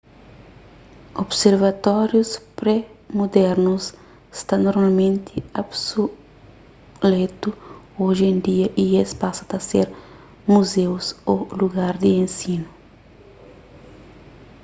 observatórius pré-mudernus sta normalmenti obsuletu oji en dia y es pasa ta ser muzeus ô lugar di ensinu